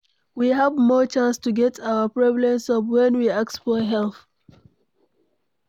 We have more chance to get our problem solved when we ask for help